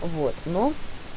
вот но